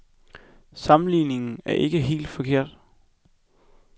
Sammenligningen er ikke helt forkert.